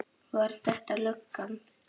Var þetta löggan?